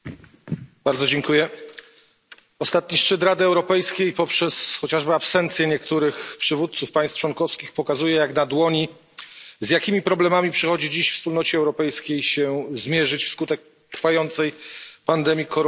Panie Przewodniczący! Ostatni szczyt Rady Europejskiej poprzez chociażby absencję niektórych przywódców państw członkowskich pokazuje jak na dłoni, z jakimi problemami przychodzi dziś Wspólnocie Europejskiej się zmierzyć wskutek trwającej pandemii koronawirusa.